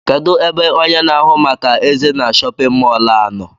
Kedụ ebe ọnye na ahụ màkà eze na shóppin mol a nọ?